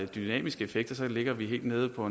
dynamiske effekter ligger vi helt nede på